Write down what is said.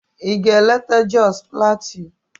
Ị ga-eleta Jos Plateau?